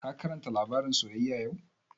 Ka karanta labarin soyyaya yau?